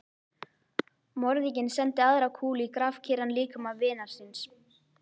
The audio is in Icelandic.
Morðinginn sendi aðra kúlu í grafkyrran líkama vinar síns.